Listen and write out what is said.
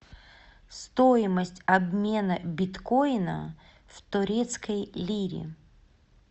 стоимость обмена биткоина в турецкой лире